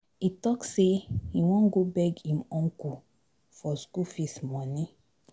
He talk say he wan go beg him uncle for school fees money.